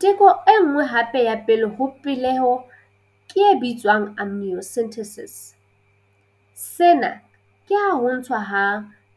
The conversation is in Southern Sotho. Teko e nngwe hape ya pele ho peleho ke e bitswang amniocentesis. Sena ke ha ho ntshwa ha